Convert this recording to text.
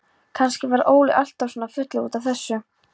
Kannski varð Óli alltaf svona fullur út af þessu.